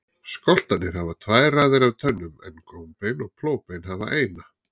Skoltarnir hafa tvær raðir af tönnum en gómbein og plógbein hafa eina.